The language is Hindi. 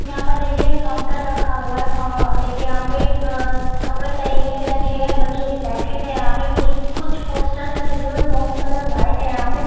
यहाँ पर देखे एक काउन्टर रखा हुआ है देखे कपड़े तय करके रखे है बच्चोंकी जैकेट है यहाँ पर कुछ पोस्टर लगी हुई है वॉल कलर व्हाइट है यहाँ पे ।